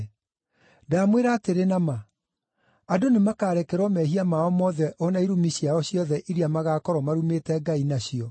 Ndamwĩra atĩrĩ na ma, andũ nĩmakarekerwo mehia mao mothe o na irumi ciao ciothe iria magaakorwo marumĩte Ngai nacio.